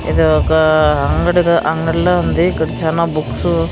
ఏదో ఒక అంగిడి అంగిడిలా ఉంది ఇక్కడ చానా బుక్సు .